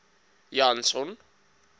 janson